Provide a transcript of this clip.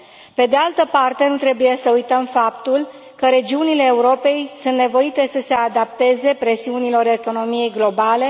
Pe de altă parte, nu trebuie să uităm faptul că regiunile Europei sunt nevoite să se adapteze presiunilor economiei globale.